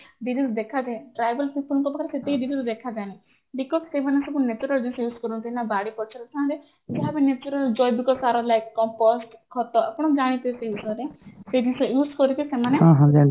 disease ଦେଖା ଯାଏ tribal people ଙ୍କ ପାଖରେ ସେତିକି disease ଦେଖା ଯାଏନା because ସେମାନେ ସବୁ natural ଜିନିଷ use କରନ୍ତି ନା ବାଡି ପଛରେ ଖଣ୍ଡେ ଯାହା ବି natural ଜୈବିକ ସାର like compost ଖତ ଆପଣ ଜାଣିଥିବେ ସେଇ ବିଷୟରେ ସେଇ ଜିନିଷ use କରିକି ସେମାନେ